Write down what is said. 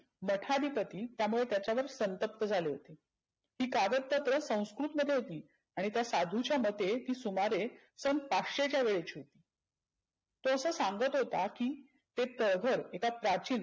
मठादीपती त्यामुळे त्यावर संतप्त झाले होते. ती कागद पत्र संस्कृतमध्ये होती. आणि त्या साधुच्या मते ती सुमारे सन पाचशे च्या वेळची होती. तो असं सांगत होता की ते तळघर एका प्राचीन